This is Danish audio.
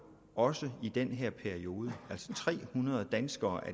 også i den periode at tre hundrede danskere